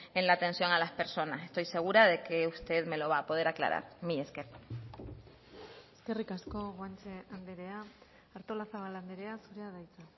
en la atención a las personas estoy segura de que usted me lo va a poder aclarar mila esker eskerrik asko guanche andrea artolazabal andrea zurea da hitza